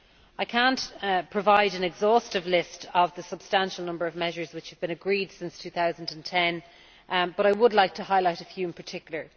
I cannot provide an exhaustive list of the substantial number of measures which have been agreed since 2010, but I would like to highlight a few in particular.